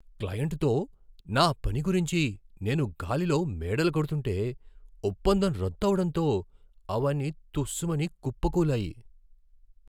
క్లయింట్తో నా పని గురించి నేను గాలిలో మేడలు కడుతుంటే, ఒప్పందం రద్దు అవడంతో అవన్నీ తుస్స్ మని కుప్పకూలాయి.